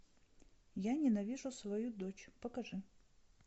я ненавижу свою дочь покажи